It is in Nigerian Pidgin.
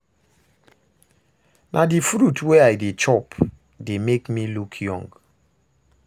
Na the fruit wey I dey chop dey make me look young